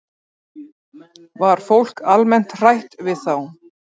Var fólk almennt hrætt við þá?